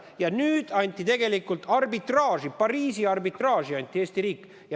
Ja nüüd anti Eesti riik Pariisi arbitraaži.